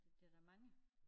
Det det der mange